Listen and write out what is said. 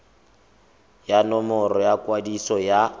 ya nomoro ya kwadiso ya